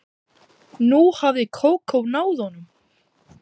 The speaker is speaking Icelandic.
Nú hafði Kókó náð honum.